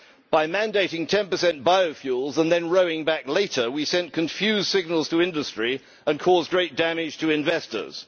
By mandating 10 biofuels and then rowing back later, we sent confused signals to industry and caused great damage to investors.